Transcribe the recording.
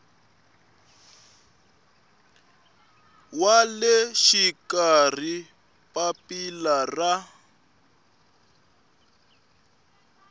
wa le xikarhi papila ra